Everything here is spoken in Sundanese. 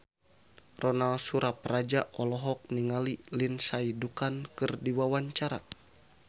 Ronal Surapradja olohok ningali Lindsay Ducan keur diwawancara